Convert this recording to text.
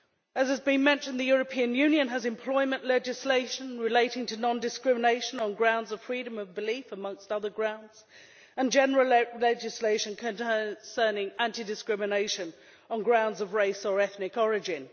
As has been mentioned, the European Union has employment legislation relating to non-discrimination on grounds of freedom of belief amongst other grounds and general legislation concerning anti discrimination on grounds of race or ethnic origin.